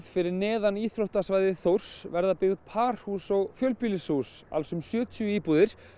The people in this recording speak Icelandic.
fyrir neðan íþróttasvæði Þórs verða byggð parhús og fjölbýlishús um sjötíu íbúðir